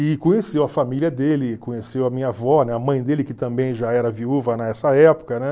E conheceu a família dele, conheceu a minha avó, né? A mãe dele, que também já era viúva nessa época, né?